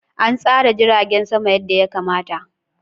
An tsara jiragen sama yadda ya kamata.